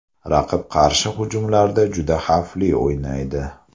Raqib qarshi hujumlarda juda xavfli o‘ynaydi.